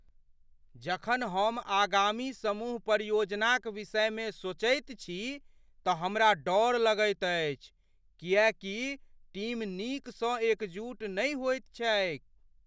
जखन हम आगामी समूह परियोजनाक विषयमे सोचैत छी तऽ हमरा डर लगैत अछि किएकि टीम नीकसँ एकजुट नहि होइत छैक ।